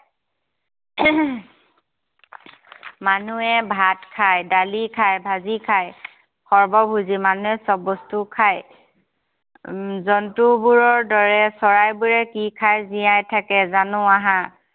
মানুহে ভাত খায়, ডালি খায়, ভাজি খায়, সৰ্বভোজী, মানুহে সব বস্তু খায। উম জন্তুবোৰৰ দৰে চৰাইবোৰে কি খায় জীয়াই থাকে জানো আহা।